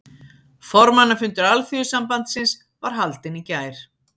Formannafundur Alþýðusambandsins var haldinn í gær